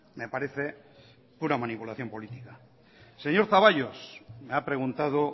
me parece una manipulación política señor zaballos me ha preguntado